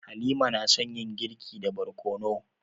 Halima na son yin girki da barkono.